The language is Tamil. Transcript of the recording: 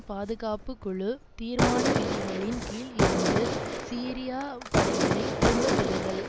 பாதுகாப்பு குழு தீர்மான விதிகளின் கீழ் இருந்து சிரியா படைகளை திரும்ப பெறுதல்